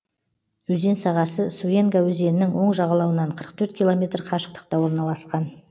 өзен сағасы суенга өзенінің оң жағалауынан қырық төрт километр қашықтықта орналасқан